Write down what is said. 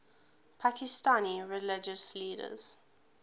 pakistani religious leaders